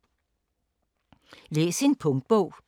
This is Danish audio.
Læs en punktbog